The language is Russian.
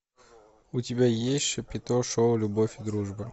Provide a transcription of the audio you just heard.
у тебя есть шапито шоу любовь и дружба